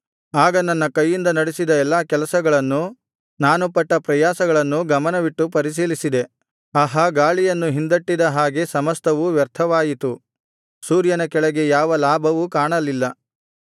ಆಗ ನನ್ನ ಕೈಯಿಂದ ನಡೆಸಿದ ಎಲ್ಲಾ ಕೆಲಸಗಳನ್ನೂ ನಾನು ಪಟ್ಟ ಪ್ರಯಾಸಗಳನ್ನೂ ಗಮನವಿಟ್ಟು ಪರಿಶೀಲಿಸಿದೆ ಆಹಾ ಗಾಳಿಯನ್ನು ಹಿಂದಟ್ಟಿದ ಹಾಗೆ ಸಮಸ್ತವೂ ವ್ಯರ್ಥವಾಯಿತು ಸೂರ್ಯನ ಕೆಳಗೆ ಯಾವ ಲಾಭವೂ ಕಾಣಲಿಲ್ಲ